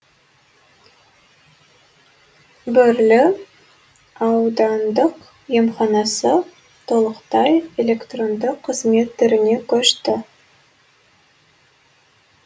бөрлі аудандық емханасы толықтай электронды қызмет түріне көшті